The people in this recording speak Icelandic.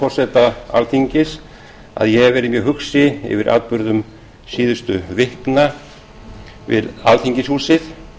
forseta alþingis að ég hef verið mjög hugsi yfir atburðum síðustu vikna við alþingishúsið